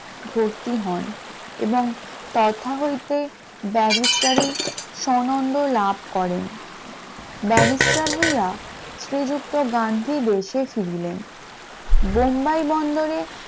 ভর্তি হন এবং তথা হইতে ব্যারিস্টারি সনন্দ লাভ করেন, ব্যারিস্টার হইয়া শ্রীযুক্ত গান্ধী দেশে ফিরলেন । বোম্বাই বন্দরে